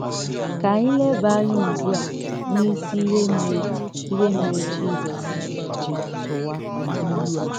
Kà ànyị lèbà ànyá ùgbú à n’ísì íhè mèrè íhè mèrè Jizọs jì tụ̀wà ìlù à.